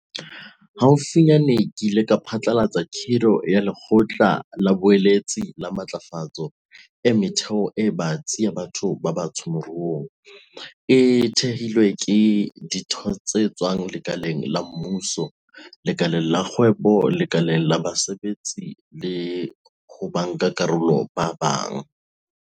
Haufinyane, ke ile ka phatlalatsa kgiro ya Lekgotla la Boeletsi la Matlafatso e Metheo e Batsi ya Batho ba Batsho Moruong, e thehilweng ka ditho tse tswang lekaleng la mmuso, lekaleng la kgwebo, lekaleng la basebetsi le ho bankakarolo ba bang.